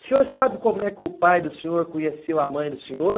O senhor sabe como é que o pai do senhor conheceu a mãe do senhor?